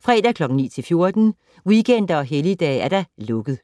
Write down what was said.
fredag 9.00-14.00, weekender og helligdage: lukket.